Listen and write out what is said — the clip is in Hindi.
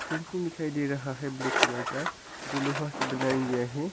फिंसिंग दिखाई दे रहा है ब्लैक कलर का जो लोहा से बनाया गया है।